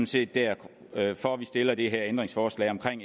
set derfor derfor vi stiller det her ændringsforslag om